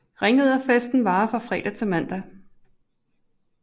Ringriderfesten varer fra fredag til mandag